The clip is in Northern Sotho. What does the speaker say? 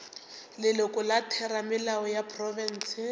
leloko la theramelao ya profense